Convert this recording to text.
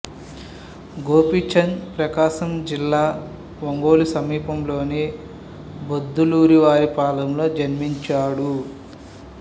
గోపీచంద్ ప్రకాశం జిల్లా ఒంగోలు సమీపంలోని బొద్దులూరివారి పాళెంలో జన్మించాడు